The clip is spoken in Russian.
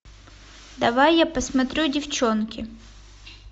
давай я посмотрю девчонки